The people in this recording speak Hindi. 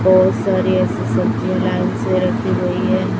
बहोत सारी ऐसी सब्जियां लाइन से रखी गई है।